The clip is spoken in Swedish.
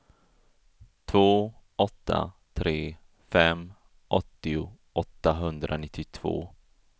två åtta tre fem åttio åttahundranittiotvå